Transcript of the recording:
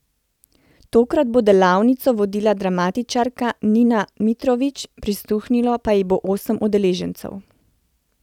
Tokrat bo delavnico vodila dramatičarka Nina Mitrović, prisluhnilo pa ji bo osem udeležencev.